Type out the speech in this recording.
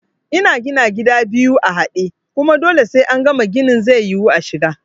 Ina gina gida biyu a haɗe, kuma dole sai angama ginin zai yiwu ashiga